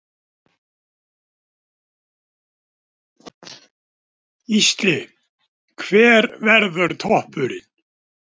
Gísli: Hver verður toppurinn?